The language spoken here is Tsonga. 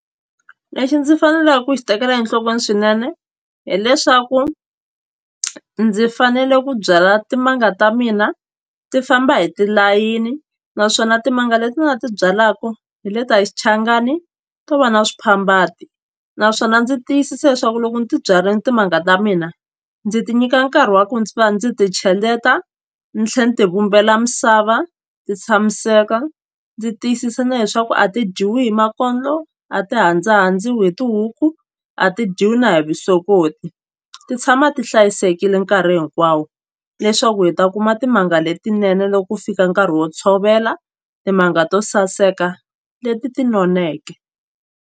Lexi ndzi faneleke ku xi tekela enhlokweni swinene hileswaku ndzi fanele ku byala timanga ta mina ti famba hi tilayini naswona timanga leti ni nga ti byalaku hi leta hi xichangani to va na swiphambati naswona ndzi tiyisisa leswaku loko ndzi ti byarile timanga ta mina ndzi ti nyika nkarhi wa ku ndzi va ndzi ti cheleta ni tlhela ni tivumbela misava ti tshamiseka ndzi tiyisisa na leswaku a ti dyiwi hi makondlo a ti hindzahandziwi hi tihuku a ti dyiwi na hi vusokoti ti tshama ti hlayisekile nkarhi hinkwawo leswaku hi ta kuma timanga letinene loko ku fika nkarhi wo tshovela timanga to saseka leti ti noneke.